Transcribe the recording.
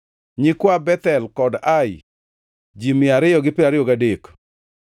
nyikwa Bethel kod Ai, ji mia ariyo gi piero ariyo gadek (223),